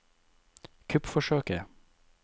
kuppforsøket